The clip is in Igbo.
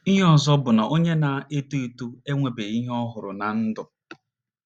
Ihe ọzọ bụ na onye na - eto eto enwebeghị ihe ọ hụrụ ná ndụ.